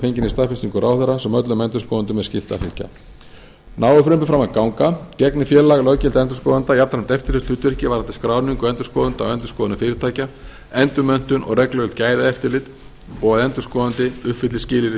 fenginni staðfestingu ráðherra sem öllum endurskoðendum er skylt að fylgja nái frumvarpið fram að ganga gegnir félag löggiltra endurskoðenda jafnframt eftirlitshlutverki varðandi skráningu endurskoðenda og endurskoðunarfyrirtækja endurmenntun og reglulegt gæðaeftirlit og að endurskoðandi uppfylli skilyrði